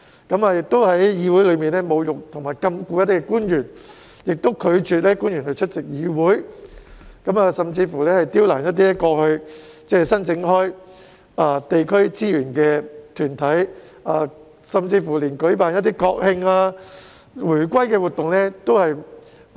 他們在會議上侮辱或禁錮官員，並拒絕官員出席會議，甚至刁難部分過去一直申請地區資源的團體，一一拒絕舉辦國慶或回歸慶祝活動。